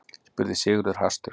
spurði Sigurður hastur.